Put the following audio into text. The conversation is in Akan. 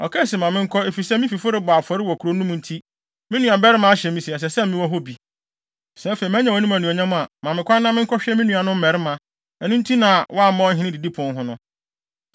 Ɔkae se, ‘Ma menkɔ, efisɛ, me fifo rebɔ afɔre wɔ kurow no mu nti, me nuabarima ahyɛ me sɛ, ɛsɛ sɛ mewɔ hɔ bi. Sɛ afei, manya wʼanim anuonyam a, ma me kwan na menkɔhwɛ me nuanom mmarima.’ Ɛno nti na wamma ɔhene didipon ho no.”